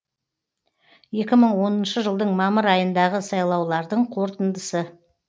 екі мың оныншы жылдың мамыр айындағы сайлаулардың қорытындысы